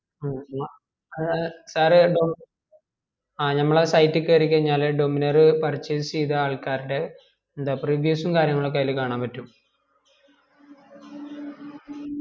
ഹമ് ഹമ്മാ അത് അത് sir ഡോമി ആ നമ്മളെ site കേരി കയ്‌ഞാല് dominar purchase ചെയ്ത ആൾകാർടെ എന്താപ്പ review സും കാര്യങ്ങളും ഒക്കെ അതിൽ കാണാൻ പറ്റും